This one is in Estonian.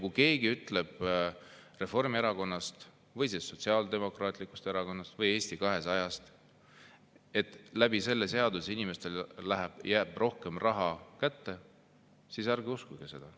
Kui keegi Reformierakonnast, Sotsiaaldemokraatlikust Erakonnast või Eesti 200‑st ütleb, et selle seadusega jääb inimestele rohkem raha kätte, siis ärge uskuge seda.